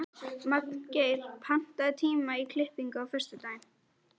Magngeir, pantaðu tíma í klippingu á föstudaginn.